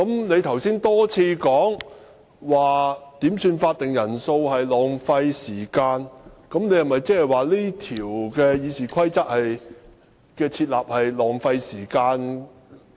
你剛才多次提到點算法定人數浪費時間，難道你認為《議事規則》訂立這一條是浪費時間？